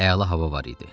Əla hava var idi.